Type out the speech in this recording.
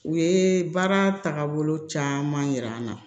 U ye baara taabolo caman yira an na